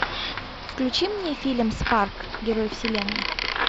включи мне фильм спарк герой вселенной